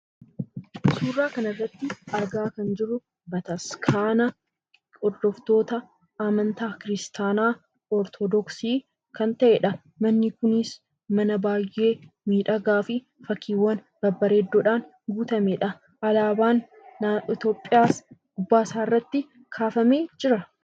Suuraa kanarratti argaa kan jirru bataskaana hordoftoota amantaa kiristaanaa Ortoodoksii kan ta'edha. Manni kunis mana baay'ee miidhagaa fi fakkiiwwan babbeereeddoodhaan guutamedha. Alaabaan Itoophiyaas gubbaasaa irratti kaafamee jira.